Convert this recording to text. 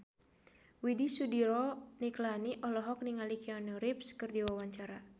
Widy Soediro Nichlany olohok ningali Keanu Reeves keur diwawancara